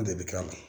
An de bɛ ka mɛn